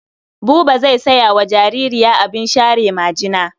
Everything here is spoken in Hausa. Buba zai saya wa jaririya abin share majina.